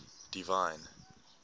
divine